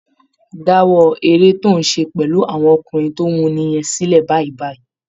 Dáwọ́ eré tó ń ṣe pẹ̀lú àwọn ọkùnrin tó wuni yẹn sílẹ̀ báyìí báyìí